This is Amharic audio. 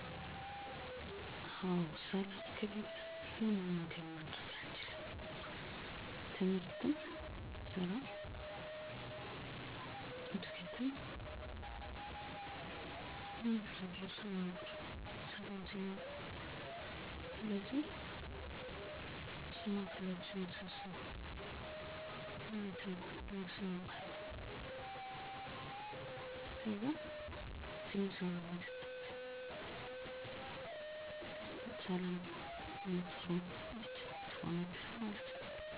የሰላም ጥሪ በማድረግ ግጭቶች መቀነስ የሃገር ሽማግሌ በመጥራት የድምፅ መልዕክት ማስተላለፍ እና ማስማማት